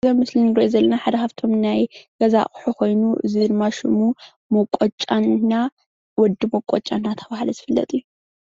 እዚ ኣብ ምስሊ ንርእዮ ዘለና ሓደ ካብቶም ናይ ገዛ ኣቑሑት ኮይኑ እዚ ሽሙ መውቀጫና ወዲ መውቀጫ እናተባሃለ ዝፍለጥ እዩ።